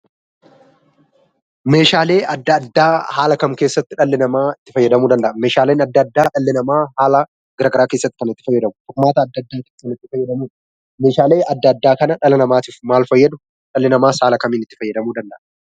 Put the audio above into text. Meeshaalee adda addaa haala kam keessatti dhalli namaa itti fayyadamuu danda'a? Meeshaaleen adda addaa dhalli namaa haala gara garaa keessatti kan itti fayyadamu. Qormaata keessatti kan itti fayyadamudha. Meeshaaleen adda addaa kana dhala namaatiif maal fayyadu? Dhalli namaas haala kamiin itti fayyadamuu danda'a?